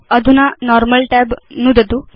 अधुना normal tab नुदतु